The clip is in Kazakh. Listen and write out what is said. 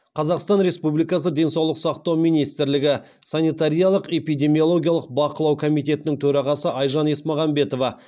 қазақстан республикасы денсаулық сақтау министрлігі санитариялық эпидемиологиялық бақылау комитетінің төрағасы айжан есмағамбетова